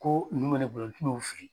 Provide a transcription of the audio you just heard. Ko nunnu bɛ ne bolo n tɛ n'o fili.